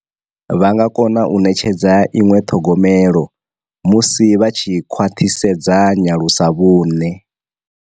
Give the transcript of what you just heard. Vha nga kona u netshedza iṅwe ṱhogomelo musi vha tshi khwaṱhisedza nyalusavhune.